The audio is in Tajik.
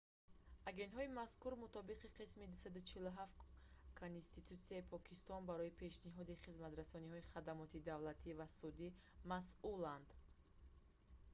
агентҳои мазкур мутобиқи қисми 247 конститутсияи покистон барои пешниҳоди хизматрасонии хадамоти давлатӣ ва судӣ масъуланд